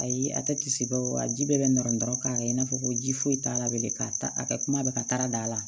Ayi a tɛ kisi baw ji bɛɛ bɛ nɔrɔ dɔrɔn k'a kɛ i n'a fɔ ko ji foyi t'a la bilen k'a ta a ka kuma bɛ ka taga da la